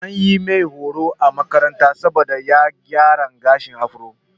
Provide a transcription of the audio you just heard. An mai horo a makaranta saboda ya yi gyaran gashin afro.